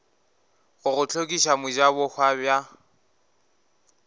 go go hlokiša mojabohwa bja